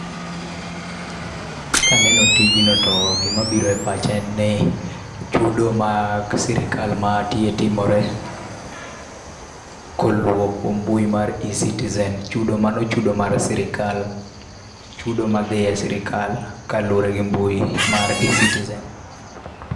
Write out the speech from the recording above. Kaneno tijno to gima biro e pacha en ni, chudo mag sirkal ma tie timore koluwo kuom mbui mar Ecitizen. Chudo mano chudo mar sirkal. Chudo madhi e sirkal kaluwore gi mbui mar Ecitizen.